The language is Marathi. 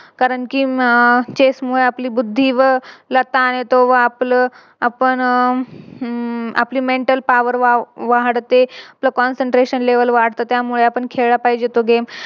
कारण कि Chess मुळे आपली बुद्धी व व आपलं आपण अह हम्म आपली Mental power वाढते व Concentration level वाढते त्यामुळे आपण खेळला पाहिचे तो Game